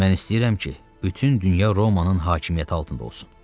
Mən istəyirəm ki, bütün dünya Romanın hakimiyyəti altında olsun.